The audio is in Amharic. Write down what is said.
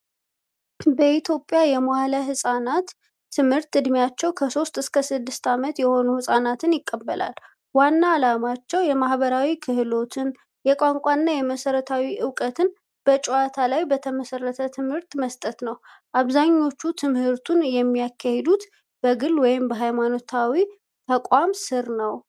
በኢትዮጵያ የመዋዕለ ሕፃናት ትምህርት ዕድሜያቸው ከ3 እስከ 6 ዓመት የሆኑ ሕፃናትን ይቀበላል። ዋና ዓላማቸውም የማህበራዊ ክህሎቶችን፣ የቋንቋንና የመሠረታዊ ዕውቀትን በጨዋታ ላይ የተመሰረተ ትምህርት መስጠት ነው። አብዛኞቹ ትምህርቱን የሚያካሂዱት በግል ወይም በሃይማኖታዊ ተቋማት ስር ነው።